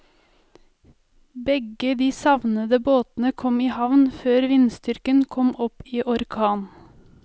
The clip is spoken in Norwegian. Begge de savnede båtene kom i havn før vindstyrken kom opp i orkan.